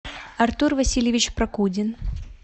артур васильевич прокудин